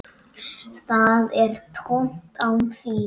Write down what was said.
Það er tómt án þín.